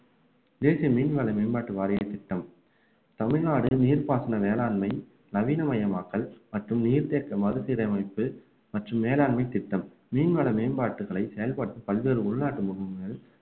தேசிய மீன்வள மேம்பாட்டு வாரிய திட்டம் தமிழ்நாடு நீர்ப்பாசன வேளாண்மை நவீனமயமாக்கல் மற்றும் நீர்த்தேக்க மறுசீரமைப்பு மற்றும் மேலாண்மை திட்டம் மீன்வள மேம்பாட்டுகளை செயல்பட்டு பல்வேறு உள்நாட்டு முகாம்களில்